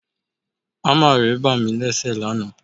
Ámà ré bá mí léṣe lánàá